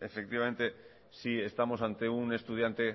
efectivamente si estamos ante un estudiante